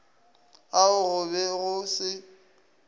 ao go be go se